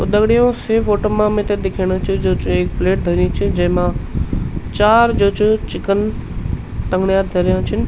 तो दगडियों से फोटो मा मिथे दिखेणु च जू च एक प्लेट धरीं च जेमा चार जू च चिकेन टन्गडीयाँ धर्या छन।